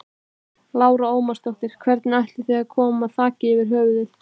Lára Ómarsdóttir: Hvernig ætið þið að koma þaki yfir höfuðið?